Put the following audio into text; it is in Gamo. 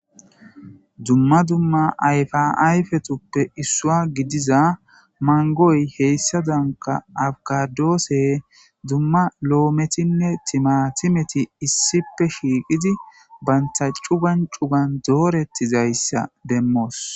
dumma dumma ayfaayfetuppe issua gidiza mangoy heyssa danka awgadoose dumma lo7ometinne timatimeti issipe shiiqizi banta cu gan cugan doorettizayssa demmoos